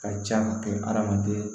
Ka ca ka kɛ hadamaden